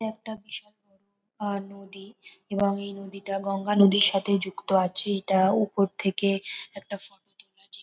এটা একটা বিশাল বড় নদী। এবং এই নদীটা গঙ্গা নদীর সাথে যুক্ত আছে এটা উপর থেকে একটা ফটো তোলা যে --